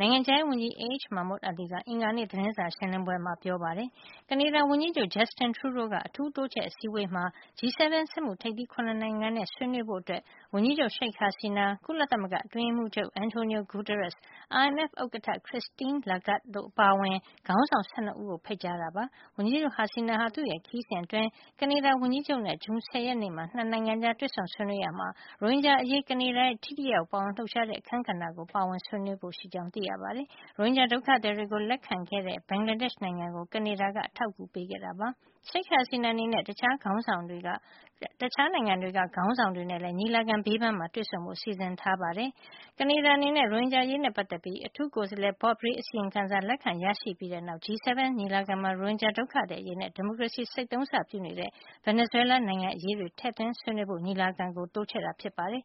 နိုင်ငံခြားရေးဝန်ကြီး A H မာမွတ်အာလီက အင်္ဂါနေ့ သတင်းစာရှင်းလင်းပွဲမှာ ပြောကြားခဲ့ပါတယ်။ ကနေဒါ ဝန်ကြီးချုပ် Justin Treadeau က အထူးတိုးချဲ့ အစည်းအဝေးမှာ G 7 စက်မှု ထိပ်သီး ၇ နိုင်ငံနဲ့ ဆွေးနွေးဖို့ ဝန်ကြီးချုပ် Sheikh Hasina ကုလသမ၈္ဂအတွင်းရေးမှုးချုပ် Antonio Guterres ၊ IMF ဥက္ကဌ Christine Lagarde တို့အပါအဝင် ခေါင်းဆောင် ၁၂ ဦးတို့ကို ဖိတ်ကြားခဲ့တာ ဖြစ်ပါတယ်။ ဝန်ကြီးချုပ် Hasina ဟာ သူ့ခရီးစဉ်အတွင်း ကနေဒါဝန်ကြီးချုပ် နဲ့ ဇွန်လ ၁၀ ရက်နေ့မှာ ၂ နိုင်ငံကြား တွေ့ဆုံဆွေးနွေးရာမှာ ရိုဟင်ဂျာအရေး ကနေဒါရဲ့ ထိထိရောက်ရောက် ပါဝင်လှုပ်ရှားတဲ့ အခန်းကဏ္ဍကိုပါ ဆွေးနွေးဖို့ ရှိကြောင်း သိရပါတယ်။ ရိုဟင်ဂျာဒုက္ခသည်တွေကို လက်ခံခဲ့တဲ့ ဘင်္ဂလားဒေ့ရှ် နိုင်ငံကို ကနေဒါက အထောက်အကူ ပေးခဲ့တာလည်း ဖြစ်ပါတယ်။ Sheikh Hasina အနေနဲ့ တခြားနိုင်ငံတွေက ခေါင်းဆောင်တွေနဲ့လည်း ညီလာခံ ဘေးပန်းမှာတွေ့ဆုံဖို့လည်း စီစဉ်ထားပါတယ်။ ကနေဒါ အနေနဲ့ ရိုဟင်ဂျာအရေးနဲ့ ပတ်သက်ပြီး အထူးကိုယ်စားလှယ် Bob Rae ရဲ့ အစီရင်ခံစာကို လက်ခံရရှိခဲ့ပြီးတဲ့ နောက် G 7 ညီလာခံမှာ ရိုဟင်ဂျာ ဒုက္ခသည် အရေးနဲ့ ဒီမိုကရေစီ ဆိတ်သုန်းစ ပြုနေတဲ့ ဗင်နီဇွဲလား နိုင်ငံအရေးတွေ ထည့်သွင်းဆွေးနွေးဖို့ ညီလာခံကို တိုးချဲ့ခဲ့တာ ဖြစ်ပါတယ်